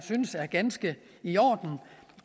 synes er ganske i orden